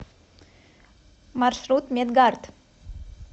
маршрут медгард